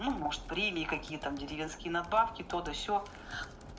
ну может премии какие там деревенские надбавки то да сё